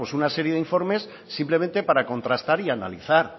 una serie de informes simplemente para contrastar y analizar